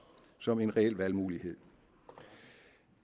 som en reel valgmulighed